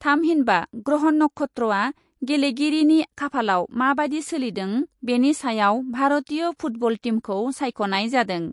थामहिनबा ग्रह नक्षत्रआ गेलेगिरिनि खाफालआव माबादि सोलिदों बेनि सायाव भारतीय फुटबल टीमखौ सायख ' नाय जादों ।